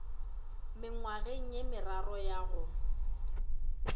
mengwageng ye meraro ya go